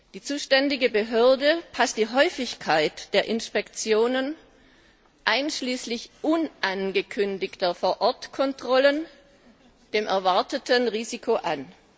Die zuständige Behörde passt die Häufigkeit der Inspektionen, einschließlich unangekündigter Vorortkontrollen, dem erwarteten Risiko an.